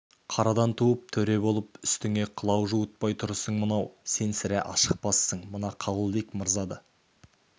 қарадан туып төре болып үстіңе қылау жуытпай тұрысың мынау сен сірә ашықпассың мына қабылбек мырза да